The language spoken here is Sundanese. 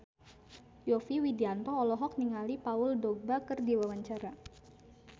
Yovie Widianto olohok ningali Paul Dogba keur diwawancara